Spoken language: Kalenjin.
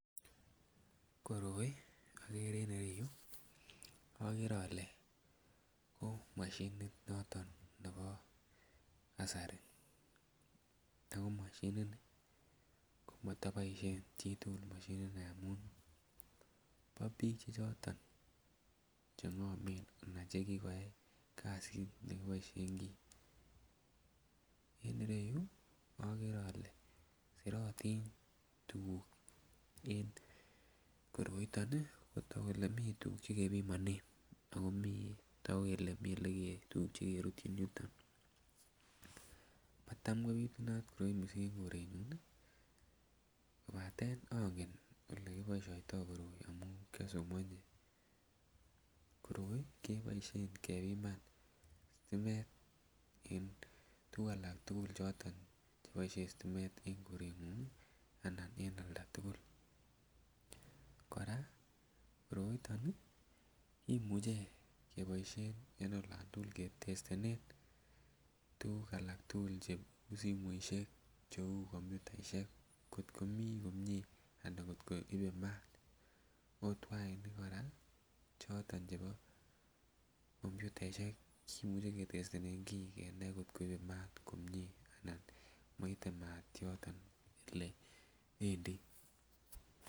Koroi ogere en ireyu ko ogere ole ko moshinit noton nebo kasari Ako moshini nii ko motoboushen biik chechang moshini nii amun bo biik choton che ng'omen ana che kigoyay kazit nekiboishen kii. En ireyu ogere ole sirotin tuguk en koroiton ii kotok kolee mii tuguk che kepimonen Ako mii kolee mii tuguk che kerutyin yuton. Matam kopitunat koroi missing en korenyun ii kobaten ongen ole kiboishoitoo koroi amun kyosomoji. Koroi keboishen kepiman stimet en tuguk alak tugul che boishen stimet en korengung ii anan en olda tugul. Koraa koroiton kimuche keboishen en olÃ n tugul ketestenen tuguk alak tugul che uu simoishek, che uu computaishek kot komii komie ana kot koibe maat ot wainik koraa choton chebo computaishek kimuche ketestenen kii kenai kot koibe maat komie ana kot koite maat yoton ole wendii